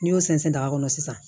N'i y'o sɛnsɛn ta kɔnɔ sisan